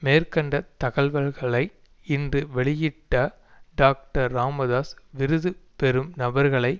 மேற்கண்ட தகவல்களை இன்று வெளியிட்ட டாக்டர் ராமதாஸ் விருது பெறும் நபர்களை